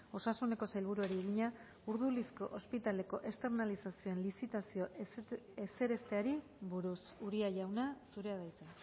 osasuneko sailburuari egina urdulizko ospitaleko esternalizazioen lizitazio ezerezteari buruz uria jauna zurea da hitza